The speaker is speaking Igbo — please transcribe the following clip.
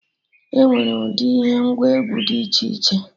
Enwere ụdị ihe ngwa egwu Did iche iche